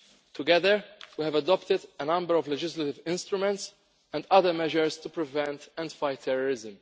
Together we have adopted a number of legislative instruments and other measures to prevent and fight terrorism.